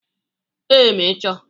Ee, ma ị chọ